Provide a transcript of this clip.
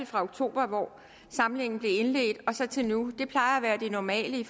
fra oktober hvor samlingen blev indledt og så til nu det plejer at være det normale i